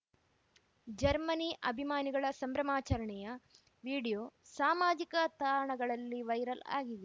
Germany ಅಭಿಮಾನಿಗಳ ಸಂಭ್ರಮಾಚರಣೆಯ video ಸಾಮಾಜಿಕ ತಾಣಗಳಲ್ಲಿ ವೈರಲ್‌ ಆಗಿದೆ